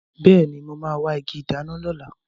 Bẹẹni, mo máa wa igi ìdáná lọ lóla